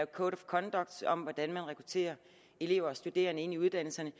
code of conducts om hvordan man rekrutterer elever og studerende ind i uddannelserne